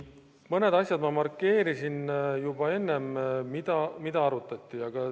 Mõned asjad, mida arutati, ma markeerisin juba ära.